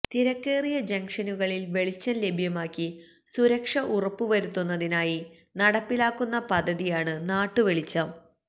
തിരക്കേറിയ ജംഗ്ഷനുകളില് വെളിച്ചം ലഭ്യമാക്കി സുരക്ഷ ഉറപ്പു വരുത്തുന്നതിനായി നടപ്പിലാക്കുന്ന പദ്ധതിയാണ് നാട്ടു വെളിച്ചം